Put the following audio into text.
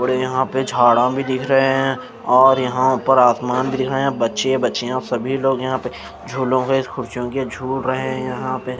और यहाँ पे झाड़ा भी दिख रहे हैं और यहाँ ऊपर आसमान भी दिख रहा है बच्चे बच्चियाँ सभी लोग यहाँ पे झूलों के खुर्चियों के झूल रहे हैं यहाँ पे --